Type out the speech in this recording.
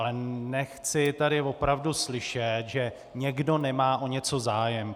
Ale nechci tady opravdu slyšet, že někdo nemá o něco zájem.